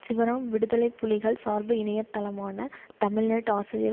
சிவராம் விடுதலை புலிகள் சார்பு இணைய தளமான தமிழ்நெட் ஆசிரியர்